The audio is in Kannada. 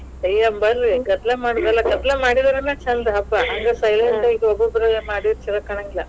ಅಯ್ಯ ಬರ್ರಿ ಗದ್ಲಾ ಮಾಡೋದ್ ಅಲ್ಲಾ, ಗದ್ಲಾ ಮಾಡಿದ್ರೇನ ಛಂದ ಹಬ್ಬಾ. ಹಂಗ silent ಆಗಿ ಒಬ್ಬೊಬ್ರ ಮಾಡಿದ್ರ ಛಲೋ ಕಾಣಂಗಿಲ್ಲ.